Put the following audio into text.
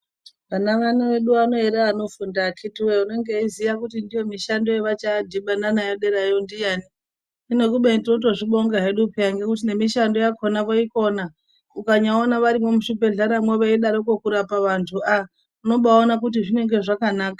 Vana vedu vano here vanofunda akitiwee. Unenge achiziya kuti ndiyo mishando yavachanodhibana nayo derayo ndiyani. Hino kubeni totozvibonga hedu peya ngekuti mishando yakona voikona. Ukanyaona varimwo muzvibhedhleramwo veidaroko kurapa vantu ah unobaaona kuti zvinge zvakanaka.